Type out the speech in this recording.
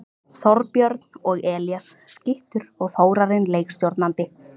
Þorbjörn og Elías skyttur og Þórarinn leikstjórnandi!